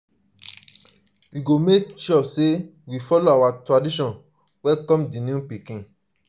we go make sure sey we folo our tradition welcome di new pikin.